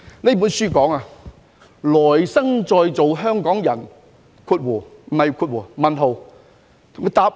這本書題為《來生再做香港人？